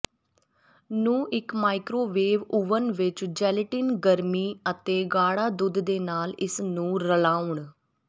ਨੂੰ ਇੱਕ microwave oven ਵਿੱਚ ਜੈਲੇਟਿਨ ਗਰਮੀ ਅਤੇ ਗਾੜਾ ਦੁੱਧ ਦੇ ਨਾਲ ਇਸ ਨੂੰ ਰਲਾਉਣ